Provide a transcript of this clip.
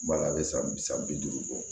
Bala a bɛ san bi saba bi duuru bɔ